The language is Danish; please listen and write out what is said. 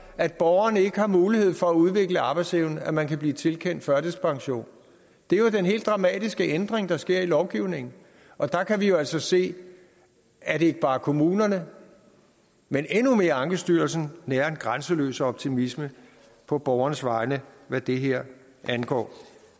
at borgeren ikke har mulighed for at udvikle arbejdsevne at man kan blive tilkendt førtidspension det er jo den helt dramatiske ændring der sker i lovgivningen og der kan vi jo altså se at ikke bare kommunerne men endnu mere ankestyrelsen nærer en grænseløs optimisme på borgernes vegne hvad det her angår